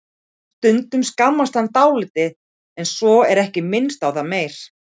Stundum skammast hann dálítið en svo er ekki minnst á það meir.